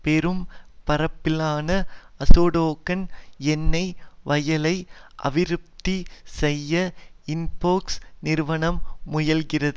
பெரும் பரப்பிலான அசோடோகான் எண்ணெய் வயலை அபிவிருத்தி செய்ய இன்பெக்ஸ் நிறுவனம் முயல்கிறது